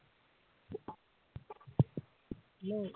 Hello